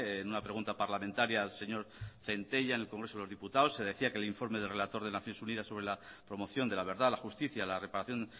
en una pregunta parlamentaria al señor centella en el congreso de los diputados se decía que el informe del relator de naciones unidas sobre la promoción de la verdad la justicia la reparación